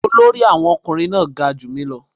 Olórí Awon omokunrin náà ga ju mi ​​lọ